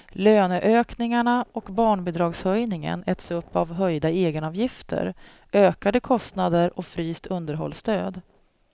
Löneökningarna och barnbidragshöjningen äts upp av höjda egenavgifter, ökade kostnader och fryst underhållsstöd.